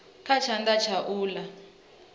kha tshanḓa tsha u ḽa